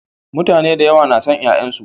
Mutane da yawa na son ƴaƴansu.